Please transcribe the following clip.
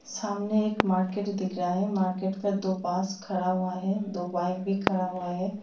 सामने एक मार्केट दिख रहा हैं मार्केट पे दो बांस खड़ा हुआ हैं दो बाइक भी खड़ा हुआ हैं।